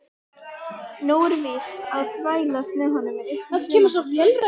Nóg er víst að þvælast með honum upp í sumarbústað.